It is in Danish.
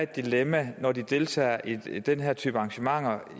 dilemma når de deltager i i den her type arrangementer